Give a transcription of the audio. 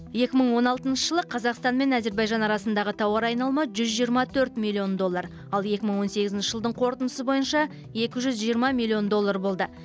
екі мың он алтыншы жылы қазақстан мен әзербайжан арасындағы тауар айналымы жүз жиырма төрт миллион доллар ал екі мың он сегізінші жылдың қорытындысы бойынша екі жүз жиырма миллион доллар болды